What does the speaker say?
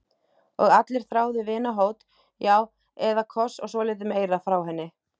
Og allir þráðu vinahót, já eða koss og svolítið meira, frá henni.